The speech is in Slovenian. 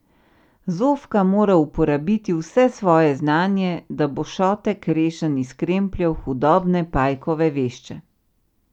Zofka mora uporabiti vse svoje znanje, da bo Šotek rešen iz krempljev hudobne Pajkove vešče.